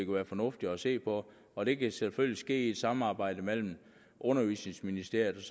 være fornuftigt at se på og det kan selvfølgelig ske i et samarbejde mellem undervisningsministeriet